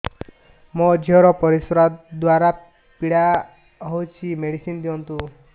ମୋ ଝିଅ ର ପରିସ୍ରା ଦ୍ଵାର ପୀଡା ହଉଚି ମେଡିସିନ ଦିଅନ୍ତୁ